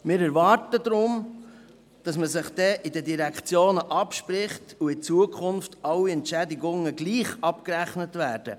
Wir erwarten deswegen, dass man sich unter den Direktionen abspricht und in Zukunft alle Entschädigungen gleich abgerechnet werden.